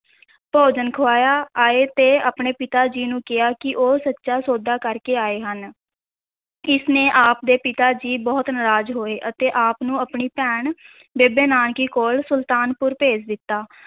ਭੋਜਨ ਖੁਆਇਆ, ਆਏ ਤੇ ਆਪਣੇ ਪਿਤਾ ਜੀ ਨੂੰ ਕਿਹਾ ਕਿ ਉਹ ਸੱਚਾ ਸੌਦਾ ਕਰਕੇ ਆਏ ਹਨ, ਇਸ ਨੇ ਆਪ ਦੇ ਪਿਤਾ ਜੀ ਬਹੁਤ ਨਰਾਜ਼ ਹੋਏ ਅਤੇ ਆਪ ਨੂੰ ਆਪਣੀ ਭੈਣ ਬੇਬੇ ਨਾਨਕੀ ਕੋਲ ਸੁਲਤਾਨਪੁਰ ਭੇਜ ਦਿੱਤਾ।